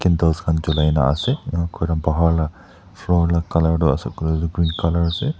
candles khan julai na ase inika kurina bahar la color toh ase kuile toh green colour ase.